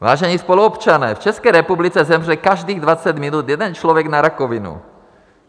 "Vážení spoluobčané, v České republice zemře každých 20 minut jeden člověk na rakovinu.